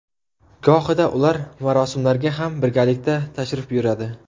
Gohida ular marosimlarga ham birgalikda tashrif buyuradi.